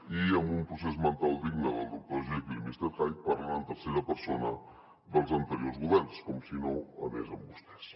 i amb un procés mental digne del doctor jekyll i mister hyde parlen en tercera persona dels anteriors governs com si no anés amb vostès